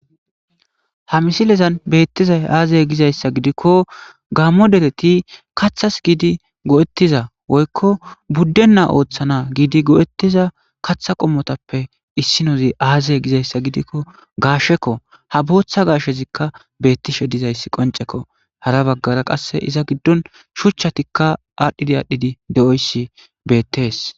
Ha misilezan beettizay aazey gizayssa gidikko gaammo dereti kathas giidi go7ettiza woykko buddenna ooththana giidi go7ettiza katha qommotappe issinozi aazey gizayssa gidikko gaashekko ha booththa gaashezikka beettishe dizayssi qoncekko hara baggara qasse iza giddon shuchchatikka aadhdhidi aadhdhidi de7oyssi beettees.